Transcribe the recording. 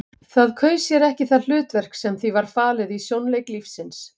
Það kaus sér ekki það hlutverk sem því var falið í sjónleik lífsins.